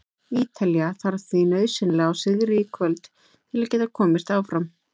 Ítalía þarf því nauðsynlega á sigri í kvöld til að geta komist áfram.